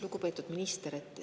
Lugupeetud minister!